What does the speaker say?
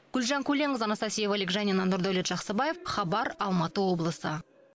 гүлжан көленқызы анастасия вылегжанина нурдаулет жаксыбаев хабар алматы облысы